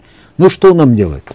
ну что нам делать